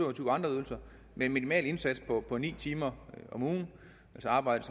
og tyve andre ydelser med en minimal indsats på på ni timer om ugen ved at arbejde